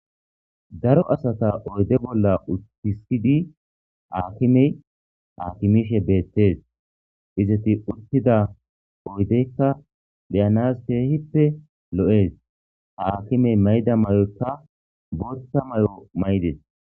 daro asata oyde bolla uttisidi aakimey aakimishe beettees izeti uttida oydeykka beyanas keehippe lo7ees ha akimey mayda may7oykka bootha may7o may7des